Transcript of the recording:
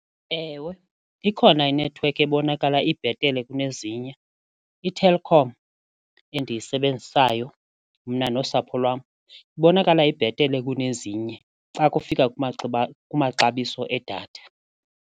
Ewe, ikhona inethiwekhi ebonakala ibhetele kunezinye, iTelkom endiyisebenzisayo mna nosapho lwam ibonakala ibhetele kunezinye xa kufika kwamaxabiso edatha.